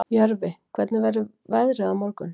Jörfi, hvernig verður veðrið á morgun?